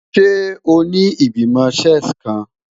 Ṣe o ni Igbimọ Chess kan?